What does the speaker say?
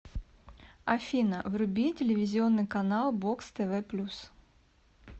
афина вруби телевизионный канал бокс тв плюс